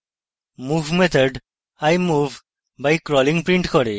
move method i move by crawling prints করে